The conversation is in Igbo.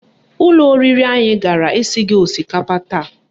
Ụlọ oriri anyị gara esighị osikapa taa